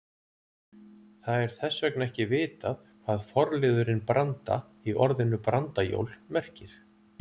Það er þess vegna ekki vitað hvað forliðurinn branda- í orðinu brandajól merkir.